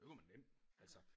Det kunne man nemt altså